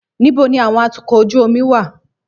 Níbo ni àwọn atukọ̀ ojú omi wà?